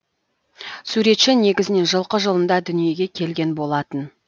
суретші негізінен жылқы жылында дүниеге келген болатын